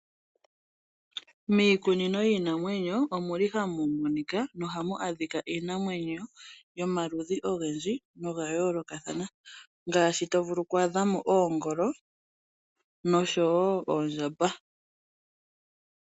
Miikunino yiinamwenyo omuli ha mumonika nohamu adhika iinamwenyo yomaludhi ogendji noya yoolokathana ngaashi to vulu oku adhamo ongolo noshowo oondjamba.